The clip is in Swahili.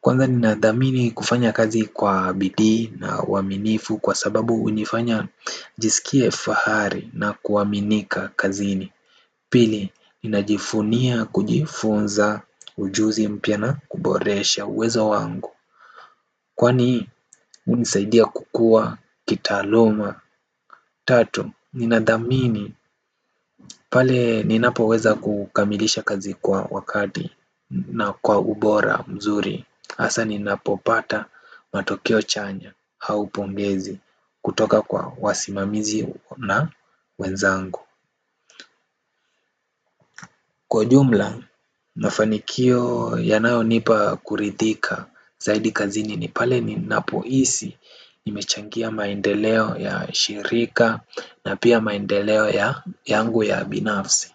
Kwanza ni nadhamini kufanya kazi kwa bidi na uaminifu kwa sababu unifanya nijisikie fahari na kuaminika kazini Pili, ninajifunia kujifunza ujuzi mpya na kuboresha uwezo wangu kwani unisaidia kukua kitaaluma Tatu, ninadhamini pale ninapo weza kukamilisha kazi kwa wakati na kwa ubora mzuri asa ninapo pata matokeo chanya au pongezi kutoka kwa wasimamizi na wenzangu kwa jumla, mafanikio yanayo nipa kuridhika zaidi kazini ni pale ninapohisi nimechangia maendeleo ya shirika na pia maendeleo yangu ya binafsi.